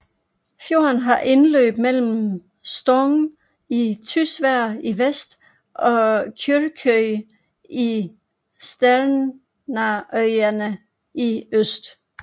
Fjorden har indløb mellem Stong i Tysvær i vest og Kyrkjøy i Sjernarøyane i øst